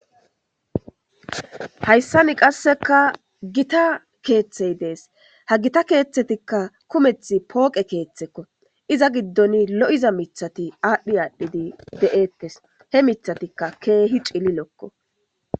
Hayssani qasseka gita keeththey dees ha gita keeththetikka kumeth pooqe keeththekko iza giddon lo'iza mithati aadhdhi aadhdhidi de'ettes he mithatikka keehi cili lokko.